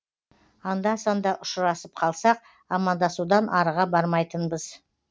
анда санда ұшырасып қалсақ амандасудан арыға бармайтынбыз